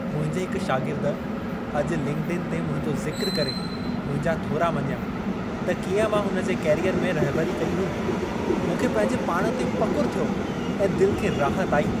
मुंहिंजे हिक शागिर्द अॼु लिंक्डइन ते मुंहिंजो ज़िक्रु करे, मुंहिंजा थोरा मञिया, त कींअं मां हुन जे कैरियर में रहबरी कई हुई। मूंखे पंहिंजे पाण ते फ़खु़रु थियो ऐं दिलि खे राहति आई।